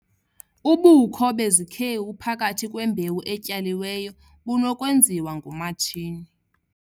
Ubukho bezikhewu phakathi kwembewu etyaliweyo bunokwenziwa ngomatshini.